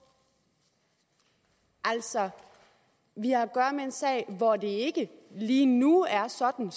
altså vi har at gøre med en sag hvor det ikke lige nu er sådan